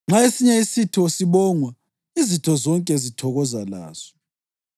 Nxa esinye isitho sibongwa, izitho zonke zithokoza laso.